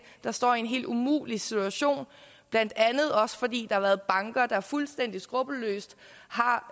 der står i en helt umulig situation blandt andet også fordi har været banker der fuldstændig skruppelløst har